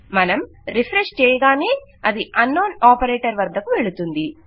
మనం రిఫ్రెష్ చేయగానే అది అన్నోన్ ఆపరేటర్ వద్దకు వెళుతుంది